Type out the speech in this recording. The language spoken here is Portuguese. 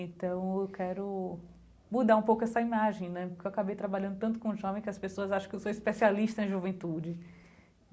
Então eu quero mudar um pouco essa imagem né, porque eu acabei trabalhando tanto com jovem que as pessoas acham que eu sou especialista em juventude.